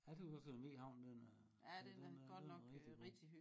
Jeg tøs også den ny havn den er den er rigtig god